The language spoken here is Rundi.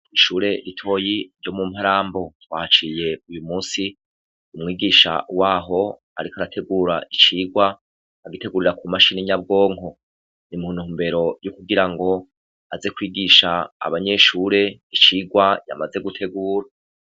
Kw'ishure ritoyi ryo mu Mparambo. Twahaciye uyu musi umwigisha waho ariko arategura icigwa agitegurira ku mashini nyabwonko. Ni mu ntumbere yo kugira ngo, aze kwigisha abanyeshure icigwa yamaze gutegura.